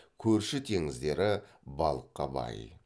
көрші теңіздері балыққа бай